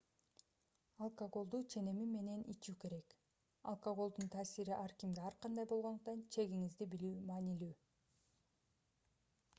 алкоголду ченеми менен ичүү керек алкоголдун таасири ар кимге ар кандай болгондуктан чегиңизди билүү маанилүү